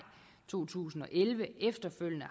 to tusind og elleve efterfølgende